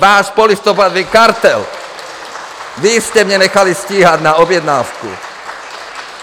Váš polistopadový kartel, vy jste mě nechali stíhat na objednávku!